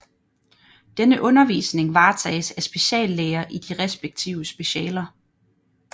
Denne undervisning varetages af speciallæger i de respektive specialer